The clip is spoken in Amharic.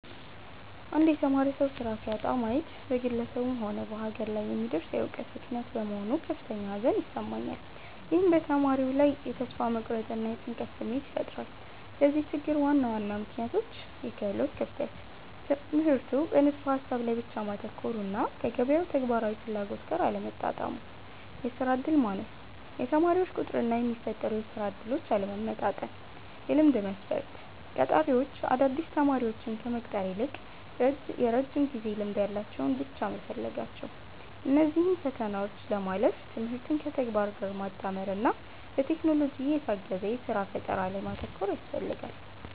አንድ የተማረ ሰው ሥራ ሲያጣ ማየት በግለሰቡም ሆነ በሀገር ላይ የሚደርስ የዕውቀት ብክነት በመሆኑ ከፍተኛ ሐዘን ይሰማኛል። ይህም በተማሪው ላይ የተስፋ መቁረጥና የጭንቀት ስሜት ይፈጥራል። ለዚህ ችግር ዋና ዋና ምክንያቶች፦ -የክህሎት ክፍተት፦ ትምህርቱ በንድፈ-ሐሳብ ላይ ብቻ ማተኮሩና ከገበያው ተግባራዊ ፍላጎት ጋር አለመጣጣሙ። -የሥራ ዕድል ማነስ፦ የተመራቂዎች ቁጥርና የሚፈጠሩ የሥራ ዕድሎች አለመመጣጠን። -የልምድ መስፈርት፦ ቀጣሪዎች አዳዲስ ተማሪዎችን ከመቅጠር ይልቅ የረጅም ጊዜ ልምድ ያላቸውን ብቻ መፈለጋቸው። እነዚህን ፈተናዎች ለማለፍ ትምህርትን ከተግባር ጋር ማጣመርና በቴክኖሎጂ የታገዘ የሥራ ፈጠራ ላይ ማተኮር ያስፈልጋል።